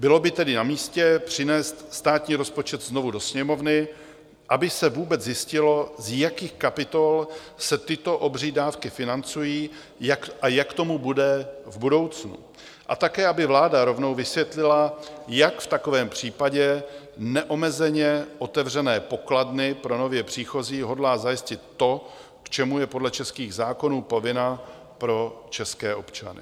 Bylo by tedy namístě přinést státní rozpočet znovu do Sněmovny, aby se vůbec zjistilo, z jakých kapitol se tyto obří dávky financují a jak tomu bude v budoucnu a také aby vláda rovnou vysvětlila, jak v takovém případě neomezeně otevřené pokladny pro nově příchozí hodlá zajistit to, k čemu je podle českých zákonů povinna pro české občany.